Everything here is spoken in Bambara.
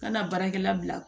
Kana baarakɛla bila